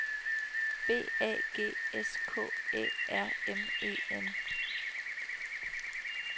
B A G S K Æ R M E N